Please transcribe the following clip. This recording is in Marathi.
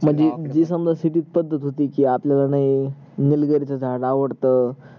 म्हणजे जस जी पद्धत होती ची आपल्या ला नाही निलगिरी च झाड आवडत